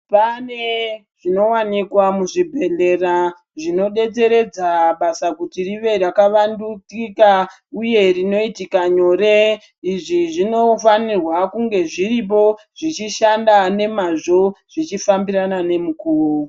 Pane zvino wanikwa muzvibhedhlera, zvino detseredza basa kuti rive raka vandukika uye rinoitika nyore. Izvi zvino fanirwa kunge zviripo zvichi shanda nemazvo, zvichi fambirana nemukuwo.